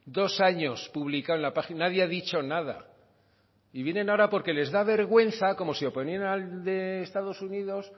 dos años publicado en la página nadie ha dicho nada y vienen ahora porque les da vergüenza como si